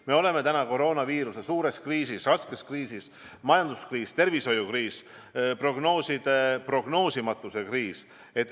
Me oleme täna koroonaviiruse põhjustatud suures kriisis, raskes kriisis: on majanduskriis, tervishoiukriis, prognooside prognoosimatuse kriis.